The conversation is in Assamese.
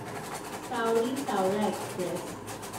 চাউৰি চাওৰা এক্সপ্ৰেছ